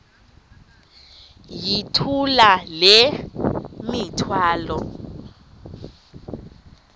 yithula le mithwalo